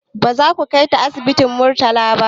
Baza mu kaita asibitin murtala ba